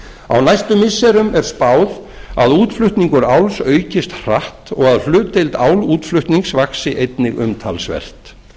á næstu missirum er spáð að útflutningur áls aukist hratt og að hlutdeild álútflutnings vaxi einnig umtalsvert